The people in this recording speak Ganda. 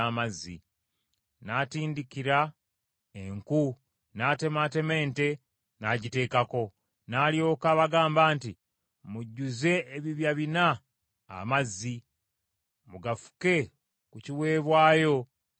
N’atindikira enku, n’atemaatema ente, n’agiteekako. N’alyoka abagamba nti, “Mujjuze ebibya bina amazzi, mugafuke ku kiweebwayo ne ku nku.”